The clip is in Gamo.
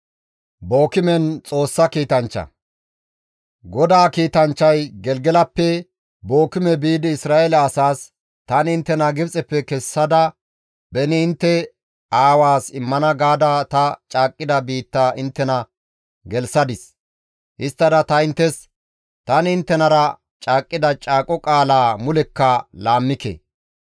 GODAA kiitanchchay Gelgelappe Bookime biidi Isra7eele asaas, «Tani inttena Gibxeppe kessada beni intte aawaas immana gaada ta caaqqida biitta inttena gelththadis; histtada ta inttes, ‹Tani inttenara caaqqida caaqo qaalaa mulekka laammike.